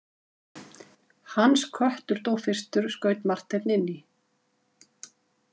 Hans köttur dó fyrstur, skaut Marteinn inn í.